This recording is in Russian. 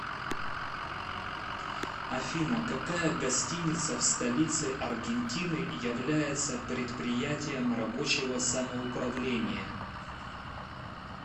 афина какая гостиница в столице аргентины является предприятием рабочего самоуправления